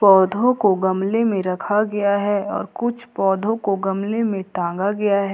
पौधों को गमले में रखा गया है और कुछ पौधों को गमले में टांगा गया है।